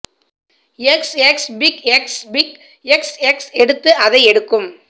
X X pick X pick X X எடுத்து அதை எடுக்கும்